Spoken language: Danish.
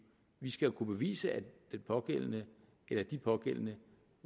vi skal jo kunne bevise at den pågældende eller de pågældende